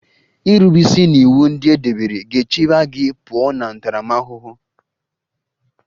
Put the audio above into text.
Irube isi n'iwu ndị e debere ga-echebe gị pụọ na ntaramahụhụ